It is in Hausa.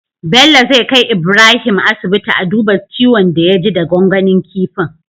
Bello zai kai Ibrahim asibiti a duba ciwon da ya ji da gwangwanin kifin